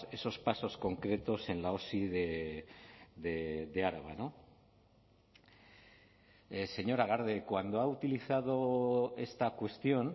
esos pasos concretos en la osi de araba señora garde cuando ha utilizado esta cuestión